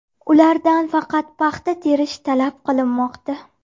Ulardan faqat paxta terish talab qilinmoqda.